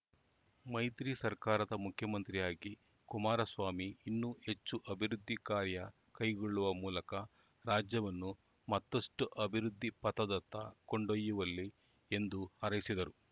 ಮೈತ್ರಿ ಸರ್ಕಾರದ ಮುಖ್ಯಮಂತ್ರಿಯಾಗಿ ಕುಮಾರಸ್ವಾಮಿ ಇನ್ನೂ ಹೆಚ್ಚು ಅಭಿವೃದ್ಧಿ ಕಾರ್ಯ ಕೈಗೊಳ್ಳುವ ಮೂಲಕ ರಾಜ್ಯವನ್ನು ಮತ್ತಷ್ಟು ಅಭಿವೃದ್ಧಿ ಪಥದತ್ತ ಕೊಂಡೊಯ್ಯಲಿ ಎಂದು ಹಾರೈಸಿದರು